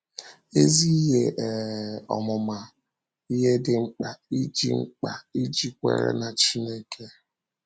Ezi Ihe um Ọmụma — Ihe Dị Mkpa Ịji Mkpa Ịji Kwèrè n’Chínèké